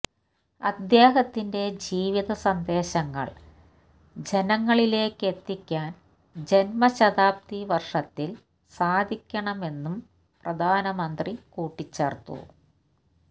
അദ്ദേഹത്തിന്റെ ജീവിത സന്ദേശങ്ങള് ജനങ്ങളിലേക്കെത്തിക്കാന് ജന്മശതാബ്ദി വര്ഷത്തില് സാധിക്കണമെന്നും പ്രധാനമന്ത്രി കൂട്ടിച്ചേര്ത്തു